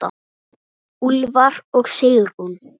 Úlfar og Sigrún.